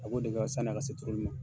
sanni a ka se turuli ma.